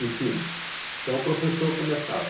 em cima, então, o professor começava.